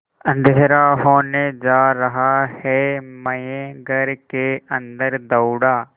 अँधेरा होने जा रहा है मैं घर के अन्दर दौड़ा